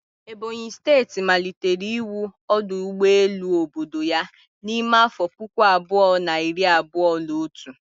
Ebonyi steeti malitere iwu ọdụ ụgbọ elu obodo ya n'ime afọ puku abụọ na iri abụọ na otu